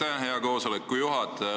Aitäh, hea istungi juhataja!